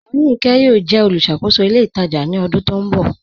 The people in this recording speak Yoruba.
Aríńkè yọọ̀ jẹ olúṣàkòsó ilẹ̀ itajà ni ọdún tó nbọ